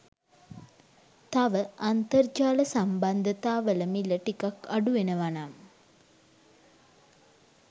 තව අන්තර්ජාල සම්බන්ධතා වල මිල ටිකක් අඩුවෙනවනම්